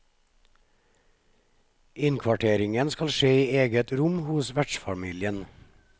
Innkvarteringen skal skje i eget rom hos vertsfamilien.